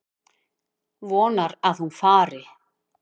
Vonar að hún fari.